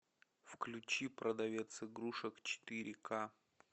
включи продавец игрушек четыре ка